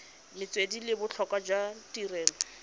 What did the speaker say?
metswedi le botlhokwa jwa tirelo